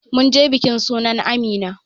Munje bikin sunan amina